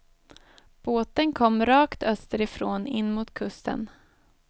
Båten kom rakt österifrån in mot kusten.